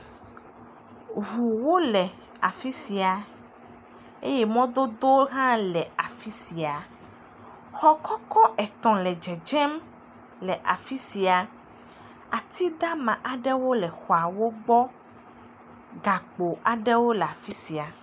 Ŋuwo le afi sia eye mɔdodowo hã le afi sia, xɔ kɔkɔ etɔ̃ le dzedzem le afi sia, ati dama aɖewo le xɔawo gbɔ, gakpo aɖewo le afi sia.